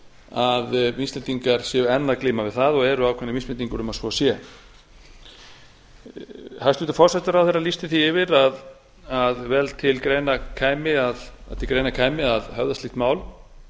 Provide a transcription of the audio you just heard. að við íslendingar séum enn að glíma við það og eru ákveðnar vísbendingar um að svo sé hæstvirtur forsætisráðherra lýsti því yfir að til greina kæmi að höfða slíkt mál